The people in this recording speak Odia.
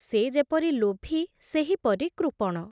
ସେ ଯେପରି ଲୋଭୀ, ସେହିପରି କୃପଣ ।